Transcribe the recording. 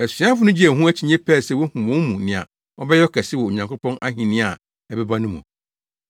Asuafo no gyee wɔn ho akyinnye pɛɛ sɛ wohu wɔn mu nea ɔbɛyɛ ɔkɛse wɔ Onyankopɔn ahenni a ɛbɛba no mu.